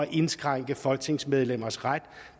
indskrænke folketingsmedlemmers ret